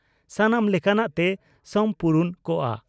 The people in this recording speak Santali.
ᱥᱟᱱᱟᱢ ᱞᱮᱠᱟᱱᱟᱜ ᱛᱮ ᱥᱚᱢᱯᱩᱨᱩᱱ ᱠᱚᱜᱼᱟ ᱾